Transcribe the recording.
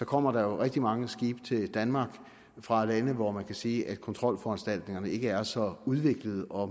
kommer der rigtig mange skibe til danmark fra lande hvor man kan sige at kontrolforanstaltningerne ikke er så udviklede og